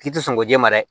K'i tɛ sɔn ko jɛma dɛma dɛ